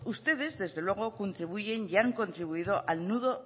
ustedes desde luego contribuyen y han contribuido al nulo